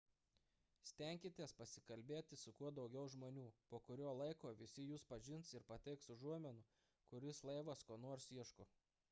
stenkitės pasikalbėti su kuo daugiau žmonių po kurio laiko visi jus pažins ir pateiks užuominų kuris laivas ko nors ieško